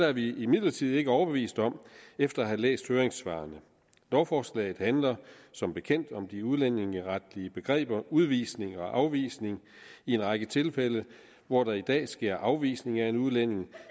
er vi imidlertid ikke overbevist om efter at have læst høringssvarene lovforslaget handler som bekendt om de udlændingeretlige begreber udvisning og afvisning og i en række tilfælde hvor der i dag sker afvisning af en udlænding